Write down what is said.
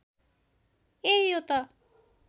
ए यो त